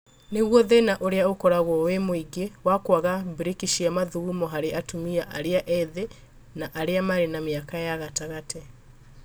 Nĩguo thĩna ũrĩa ũkoragwo wĩ mũingĩ wa kwaga brĩki cia mathugumo harĩ atumia arĩa ethĩ na arĩa marĩ na mĩaka gatagatĩ.